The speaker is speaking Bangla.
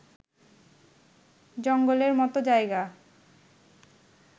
জঙ্গলের মতো জায়গা